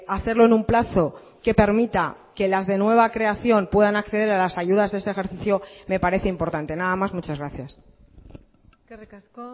hacerlo en un plazo que permita que las de nueva creación puedan acceder a las ayudas de este ejercicio me parece importante nada más muchas gracias eskerrik asko